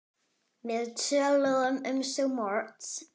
Við töluðum um svo margt.